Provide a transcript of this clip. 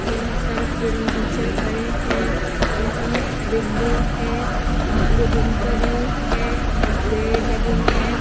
यहाँ सर एवं टीचर खड़े हैं। यहाँ विंडो है। ये दिन का व्यू है और पेड़ लगे हैं।